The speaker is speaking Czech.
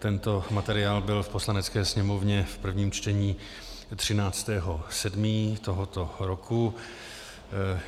Tento materiál byl v Poslanecké sněmovně v prvním čtení 13. 7. tohoto roku.